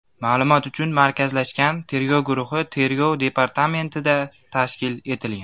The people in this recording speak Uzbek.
Ma’lumot uchun, markazlashgan tergov guruhi Tergov departamentida tashkil etilgan.